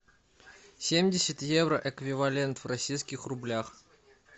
семьдесят евро эквивалент в российских рублях